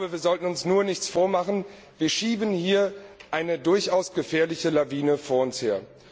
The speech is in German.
Wir sollten uns nur nichts vormachen Wir schieben hier eine durchaus gefährliche Lawine vor uns her.